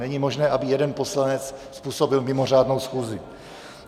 Není možné, aby jeden poslanec způsobil mimořádnou schůzi.